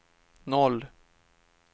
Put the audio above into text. noll